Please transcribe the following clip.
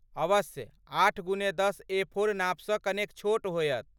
अवश्य, आठ गुने दश एफोर नापसँ कनेक छोट होयत।